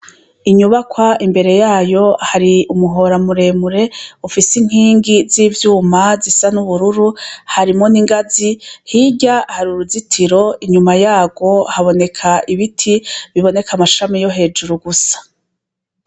Inyubakwa imbere yayo hari umuhoraamuremure ufise inkingi z'ivyuma zisa n'ubururu harimo n'ingazi hirya hari uruzitiro inyuma yawo haboneka ibiti biboneka amashami yo hejuru gusa.